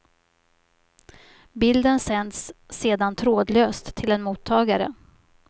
Bilden sänds sedan trådlöst till en mottagare.